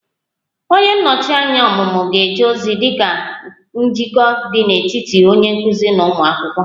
Onye nnọchi anya ọmụmụ ga-eje ozi dị ka njikọ dị n'etiti onye nkuzi na ụmụ akwụkwọ